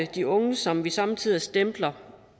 de unge som vi somme tider stempler